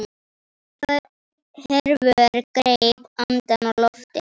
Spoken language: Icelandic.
Hervör greip andann á lofti.